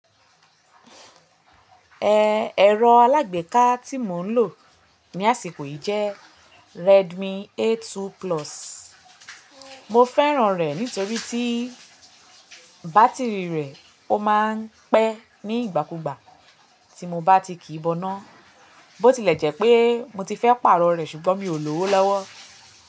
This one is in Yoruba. Ẹ̀rọ alágbèéká tí mo ń lò ní àsìkò yi jẹ́ Redmi A2 Plus. Mo fẹ́ràn rẹ̀ nítorí tí bátìrì rẹ̀ ó máa ń pẹ́ ní ìgbàkúgbà tí mo bá ti kìí boná. Bó ti lẹ̀ jẹ́ pé mo ti fẹ́ pààrọ̀ rẹ̀ ṣùgbọ́n mi ò ló owó lọ́wọ́.